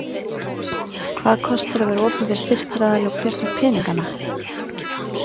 Hvað kostar að vera opinber styrktaraðili og hver fær peningana?